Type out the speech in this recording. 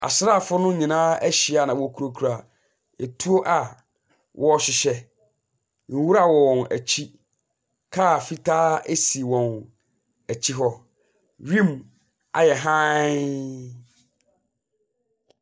Asrafo no nyinaa ahyia na wɔkurakura tuo a wɔrehyehyɛ. Nwura wɔ wɔn akyi. Car fitaa esi wɔn akyi hɔ. Wim ayɛ hann.